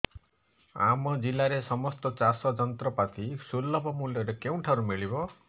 ଆମ ଜିଲ୍ଲାରେ ସମସ୍ତ ଚାଷ ଯନ୍ତ୍ରପାତି ସୁଲଭ ମୁଲ୍ଯରେ କେଉଁଠାରୁ ମିଳିବ